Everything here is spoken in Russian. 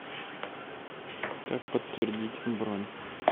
как подтвердить бронь